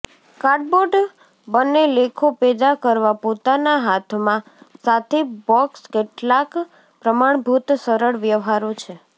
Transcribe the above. cardboard બને લેખો પેદા કરવા પોતાના હાથમાં સાથે બોક્સ કેટલાક પ્રમાણભૂત સરળ વ્યવહારો છે